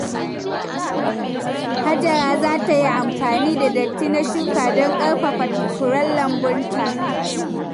Hajara za ta yi amfani da datti na shuka don ƙarfafa furen lambunta.